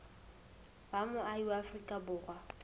ba moahi wa afrika borwa